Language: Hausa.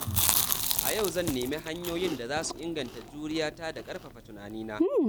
A yau zan nemi hanyoyin da za su inganta juriya ta da ƙarfafa tunanina.